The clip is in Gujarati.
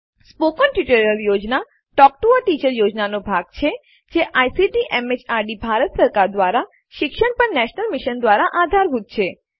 મૌખિક ટ્યુટોરિયલ યોજના ટોક ટૂ અ ટીચર યોજનાનો એક ભાગ છે જે આઇસીટી એમએચઆરડી ભારત સરકાર દ્વારા શિક્ષણ પર નેશનલ મિશન દ્વારા આધારભૂત છે